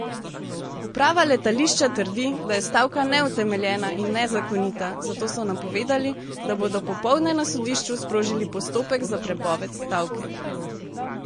Uprava letališča trdi, da je stavka neutemeljena in nezakonita, zato so napovedali, da bodo popoldne na sodišču sprožili postopek za prepoved stavke.